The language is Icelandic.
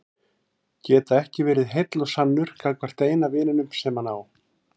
Geta ekki verið heill og sannur gagnvart eina vininum sem hann á.